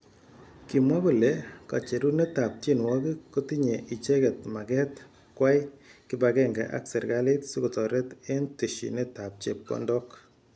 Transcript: kimwa kole kacherunet ab tienwokik kotinye icheket maket kwai kipakenge ak serekalit sikotaret eng teshinet ab chepkondok.